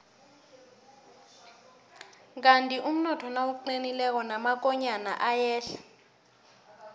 kandi umnotho nawuqinileko namakonyana ayehla